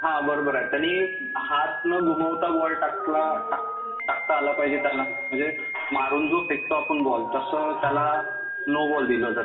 हा बरोबर आहे, त्यांनी हात न दुमडता बॉल टाकता आला पाहिजे त्यांना. म्हणजे मारून जो फेकतो आपण बॉल त्याला नो बॉल दिला जातो.